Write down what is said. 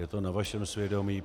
Je to na vašem svědomí.